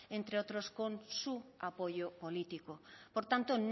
entre otros con su apoyo político por tanto